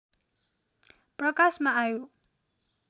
प्रकाशमा आयो